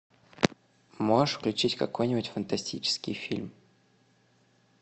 можешь включить какой нибудь фантастический фильм